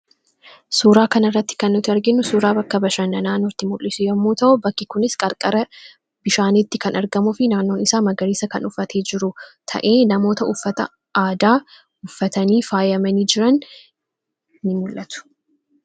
suuraa kan irratti kan nuti arginu suuraa bakka bashannanaa nutti mul'isu yommuu ta'uu bakki kunis qarqara bishaaniitti kan argamufi naannoon isaa magariisa kan uffate jiru ta'ee namoota uffata aadaa uffatanii faayyamanii jiran in mul'atu.